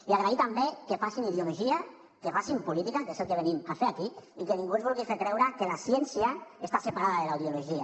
i agrairlos també que facin ideologia que facin política que és el que venim a fer aquí i que ningú ens vulgui fer creure que la ciència està separada de la ideologia